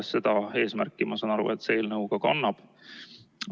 Seda eesmärki, ma saan aru, see eelnõu kannab.